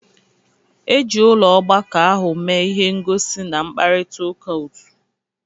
Eji ụlọ ọgbakọ ahụ mee ihe ngosi na mkparịta ụka otu.